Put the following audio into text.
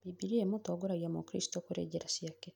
Bibilia ĩmũtongoragia mũkristo kũrĩ njĩra ciake